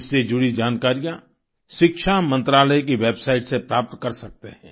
इससे जुड़ी जानकारियाँ शिक्षा मंत्रालय की वेबसाइट से प्राप्त कर सकते हैं